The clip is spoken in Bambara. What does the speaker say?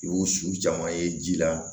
I y'o su caman ye ji la